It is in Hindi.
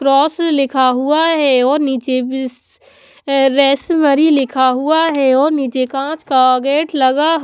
क्रॉस लिखा हुआ है और नीचे बीस रेसमरी लिखा हुआ हैऔर नीचे कांच का गेट लगा--